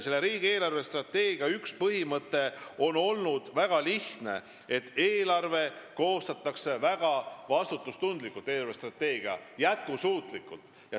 Selle riigi eelarvestrateegia üks põhimõte on tõesti väga lihtne olnud – eelarvestrateegia koostatakse väga vastutustundlikult ja jätkusuutlikuna.